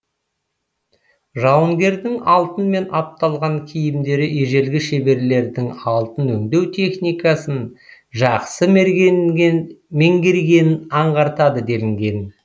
жауынгердің алтынмен апталған киімдері ежелгі шеберлердің алтын өңдеу техникасын жақсы меңгергенін аңғартады делінген